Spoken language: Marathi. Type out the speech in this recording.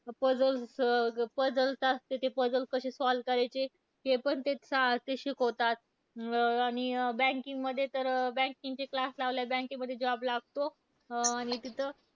Puzzles अं puzzles असते. ते puzzles कसे solve करायचे हे पण चेत सा शिकवतात. अं आणि banking मध्ये तर banking चे class लावल्यावर bank मध्ये job लागतो. अं आणि तिथ,